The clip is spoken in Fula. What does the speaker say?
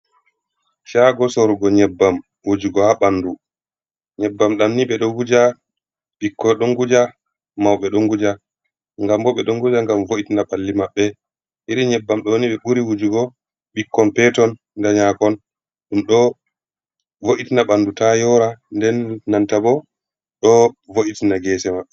Shago sorugo nyebbam wujugo ha bandu, nyebbam dam ni ɓe do nguja, ɓikkoi do nguja, mauɓe do nguja, gam bo ɓe do nguja ngam vo’itina balli maɓɓe. Iri nyebbam do ni ɓe ɓuri wujugo bikkon peton nda nyakon, ɗum do vo’itina bandu ta yora nden nanta bo do vo’itina gese maɓɓe.